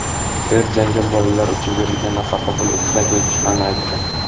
er janjal bolalar uchun berilgan nafaqa puli ustida kelib chiqqanini aytdi.